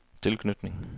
tilknytning